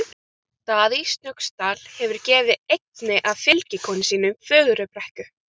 Daði í Snóksdal hefur gefið einni af fylgikonum sínum Fögrubrekku.